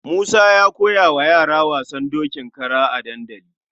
Musa ya koya wa yara wasan dokin kara a dandali.